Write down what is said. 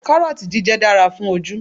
Kárọ́ọ̀tì jíjẹ dára fún ojú